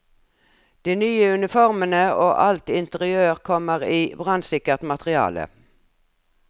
De nye uniformene og alt interiør kommer i brannsikkert materiale.